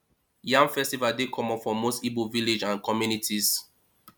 yam festival dey common for most igbo village and communities